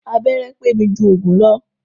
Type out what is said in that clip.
Abẹ́rẹ́ pé mi jù òògùn lọ.